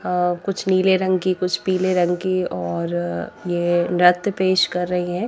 अअकुछ नीले रंग की कुछ पीले रंग की और ये नृत्य पेश कर रही है।